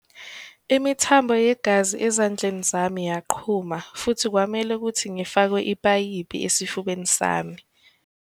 "Imithambo yegazi ezandleni zami yaqhuma futhi kwamele ukuthi ngifakwe ipayipi esifubeni sami."